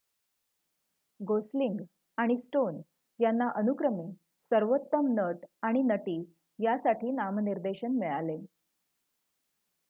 Gosling आणि Stone यांना अनुक्रमे सर्वोत्तम नट आणि नटी यासाठी नामनिर्देशन मिळाले